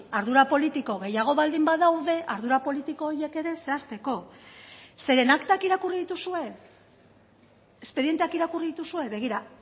ardura politiko gehiago baldin badaude ardura politiko horiek ere zehazteko zeren aktak irakurri dituzue espedienteak irakurri dituzue begira